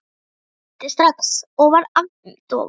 Ég hlýddi strax og varð agndofa.